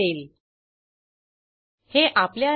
नंतर insert into checkout call करू